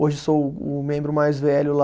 Hoje sou o membro mais velho lá.